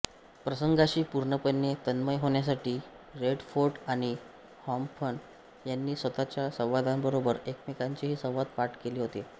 प्रसंगांशी पूर्णपणे तन्मय होण्यासाठी रेडफोर्ड आणि हॉफमन यांनी स्वतःच्या संवादांबरोबर एकमेकांचेही संवाद पाठ केले होते